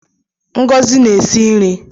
Ngozi na-esi nri